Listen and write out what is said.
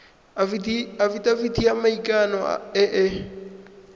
afitafiti ya maikano e e